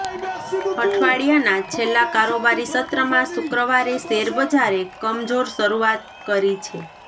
અઠવાડિયાના છેલ્લા કારોબારી સત્રમાં શુક્રવારે શેરબજારે કમજોર શરૂઆત કરી છે